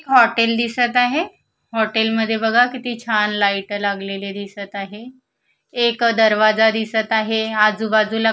hotel दिसत आहे hotel मध्ये बघा किती छान लाईट लागलेले दिसत आहे एक दरवाजा दिसत आहे आजूबाजूला --